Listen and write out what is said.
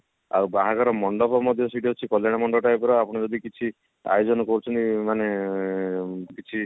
ଆଉ ବାହାଘର ମଣ୍ଡପ ମଧ୍ୟ ସେଠି ଅଛି କଲ୍ଯାଣୀ ମଣ୍ଡପ type ର ଆପଣ ଯଦି କିଛି ଆୟୋଜନ କରୁଛନ୍ତି ମାନେ କିଛି